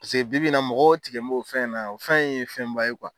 Paseke bibi in na mɔgɔw tigɛ mb'o fɛn in na yan, o fɛn ye fɛnba ye